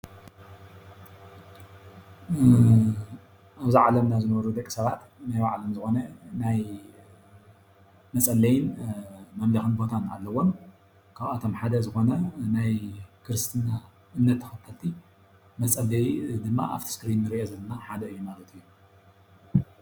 ኣብዚ ዓለምና ዝነብሩ ደቂ ሰባት ናይባዕሎም ዝኮነ ናይ መፀለይን መምለክን ቦታ ኣለዎም፡፡ ካብኣቶም ሓደ ዝኮነ ናይ ክርስትና እምነት ተከተልቲ መፀለይ ድማ ኣብቲ እስክሪን እንሪኦ ዘለና ሓደ እዩ፡፡